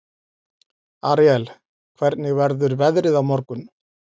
Aríel, hvernig verður veðrið á morgun?